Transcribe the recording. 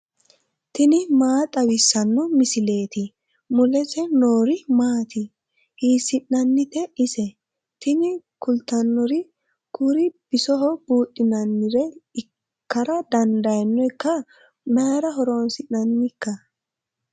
tini maa xawissanno misileeti ? mulese noori maati ? hiissinannite ise ? tini kultannori kuri bisoho buudhinannire ikkara dandaannoikka mayra horoonsi'nannikka